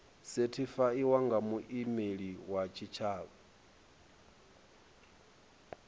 sethifaiwa nga muimeli wa tshitshavha